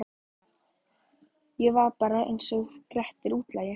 Ég var bara einsog Grettir útlagi.